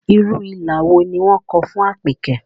Irú ilà wo ni wọ́n kọ fún Àpèkẹ́?